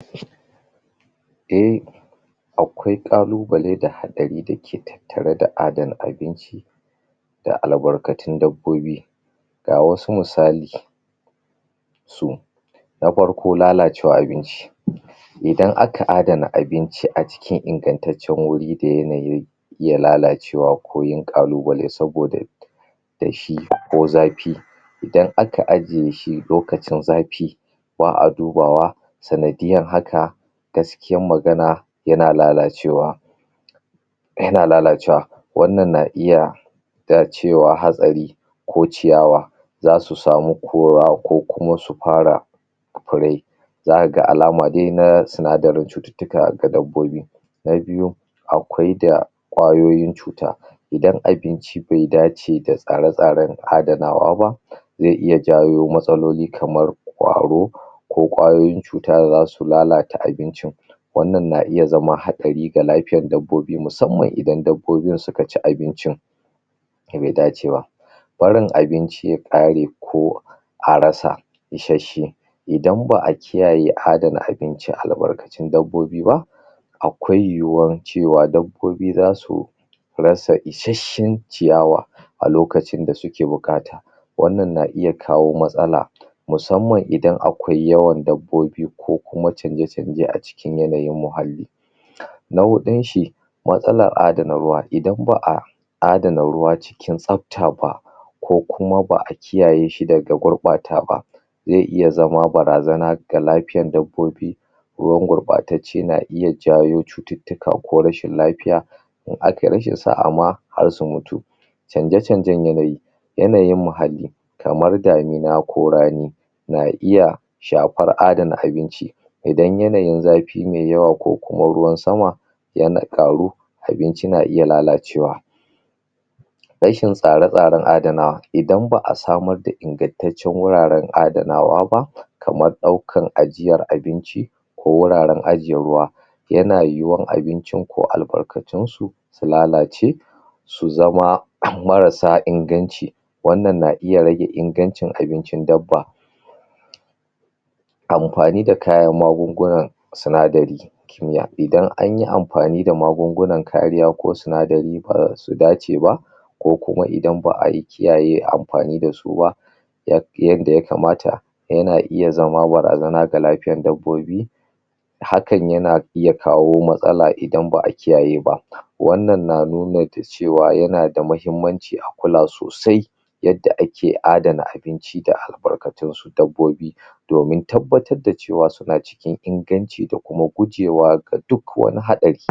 Akwai ƙalubale da haɗari da ke tattare da adana abinci da albarkatun dabbobi. Ga wasu misali. Na farko lalacewar abinci Idan aka adana abinci a cikin ingantaccen wuri da yanayi iya lalace ko yin ƙalubale saboda danshi ko zafi idan aka a je shi lokacin zafi ba a dubawa sanadiyyar haka gaskiyar magana yana lalacewa yana lallacewa wannan na iya a cewa hatsari ko ciyawa za su sami ko ya ko su fara ko ko lai za ka ga alama dai na sinadarin cututtuka ga dabbobi na biyu akwai da ƙwayoyin cuta Idan abinci bai dace da tsare-tsaren adanawa ba zai iya jawo matsaloli kamar ƙwaro, ko ƙwayoyin cuta da za su lalata abincin wannan na iya zama haɗari ga lafiyar dabbobi musamman idan dabbobin suka ci abincin da bai dace ba. Tsarin abinci ya ƙare ko a rasa isasshe idan ba a kiyaye adana abinci da albarkatun dabbobi ba akwai yiwuwar cewa dabbobi za su rasa isasshen ciyawa a lokacin da suke buƙata wannan na iya kawo matsala musamman idan akwai yawan dabbobi ko kuma canje-canje a cikin muhalli. Na huɗun shi matsalar adana ruwa idan ba a adana ruwa cikin tsabta ba ko kuma ba a kiyaye shi daga gurɓata ba, zai iya zama barazana ga lafiyar dabbobi ruwan gurɓtacce na iya jawo cututtuka ko rashin lafiya in akai rashin sa'a ma har su mutu canje-canjen yanayi, yanayin muhalli kamar damina ko rani na iya shafar adana abinci Idan yanayin zafi mai yawa ko kuma ruwan sama yana ƙaru abin na iya lalacewa Rashin tsare-tsaren adana Idan ba a samar da ingantaccen wuraren adanawa ba kamar ɗaukar ajiyar abinci ko wuraren ajiye ruwa yana yiwuwar abincin ko albarkatunsu su lalace su zama marassa inganci wannan na iya rage ingancin abincin dabba. Amfanin da kayan magungunan sinadari idan an yi amfani da magungunan kariya ko sinadari da ba su dace ba ko kuma idan ba a kiyaye amfani dasu ba yadda ya kamata yana iya zama barazana ga lafiyar dabbobi hakan yana iya kawo matsala idan ba a kiyaye ba wannan na nuna da cewa yana da muhimmanci a kula sosai yadda ake adana abinci da albarkatun su dabbobi domin tabbatar da cewar suna cikin inganci da kuma gujewa da duk wani haɗari.